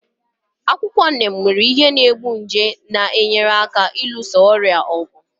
Akwụkwọ Neem nwere ihe na-egbu nje na-enyere aka ịlụso ọrịa ọgụ ọgụ.